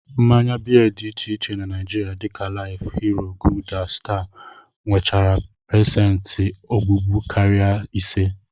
Mmanya beer dị iche iche na Naijiria dịka life, hero, gulder, star, nwechara pesenti ogbugbu karịrị ise